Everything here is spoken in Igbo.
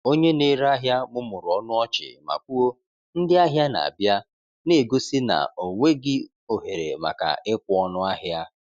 Onye na-ere ahịa mụmụrụ ọnụ ọchị ma kwuo, “Ndị ahịa na-abịa,” na-egosi na ọ nweghị ohere maka ịkwụ ọnụ ahịa.